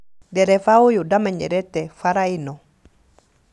Ndereba ũyũ ndamenyerete bara ĩno